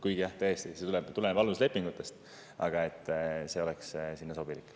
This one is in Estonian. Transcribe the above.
Kuigi jah, see tuleneb tõesti aluslepingutest, aga see oleks sobilik.